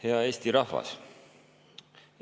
Hea Eesti rahvas!